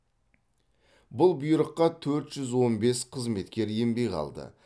бұл бұйрыққа төрт жүз он бес қызметкер енбей қалды